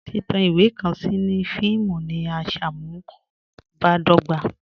Titan iwe kan sí ní fíìmù ní à nṣámùbàdọ̀gbà